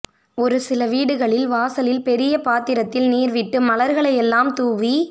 ஒரு சில வீடுகளில் வாசலில் பெரிய பாத்திரத்தில் நீர் விட்டு மலர்களையெல்லாம் தூவி